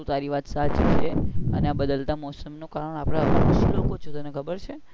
એ તો તારી વાત સાચી છે એ આ બદલતા મોસમ નું કારણ આપણા લોકો જ છે ખબર છે